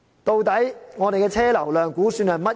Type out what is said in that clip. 究竟我們的車流量估算是多少？